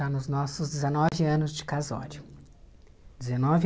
Já nos nossos dezenove anos de casório. Dezenove